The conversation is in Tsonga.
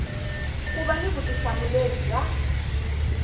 ku va ni vutihlamuleri bya